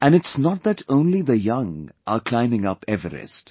And it's not that only the young are climbing Everest